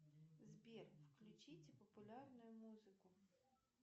сбер включить популярную музыку